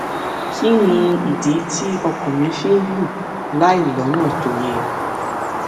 kí nìdí tí ọkàn mi fi ń lù láìlónà tó yẹ